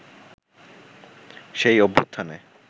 সেই অভ্যুত্থানে